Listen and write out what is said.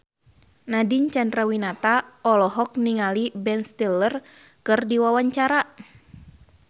Nadine Chandrawinata olohok ningali Ben Stiller keur diwawancara